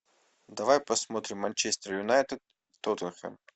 давай посмотрим манчестер юнайтед тоттенхэм